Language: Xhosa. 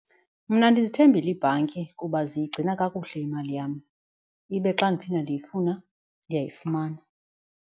Mna ndizithembile iibhanki kuba ziyigcina kakuhle imali yam ibe xa ndiphinda ndiyifuna ndiyayifumana.